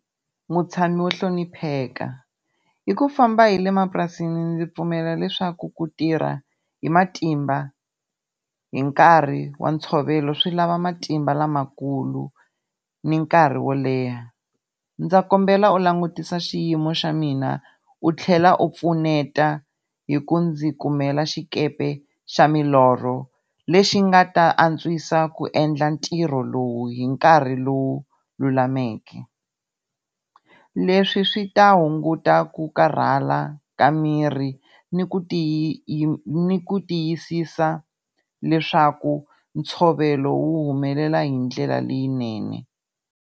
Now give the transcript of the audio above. Mutshami wo hlonipheka i ku famba hi le mapurasini ndzi pfumela leswaku ku tirha hi matimba hi nkarhi wa ntshovelo swi lava matimba lamakulu, ni nkarhi wo leha. Ndza kombela u langutisa xiyimo xa mina u tlhela u pfuneta hi ku ndzi kumela xikepe xa milorho, lexi nga ta antswisa ku endla ntirho lowu hi nkarhi lowu lulameke. Leswi swi ta hunguta ku karhala ka miri, ni ku ku tiyisisa leswaku ntshovelo wu humelela hindlela leyinene.